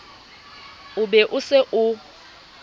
o be o se o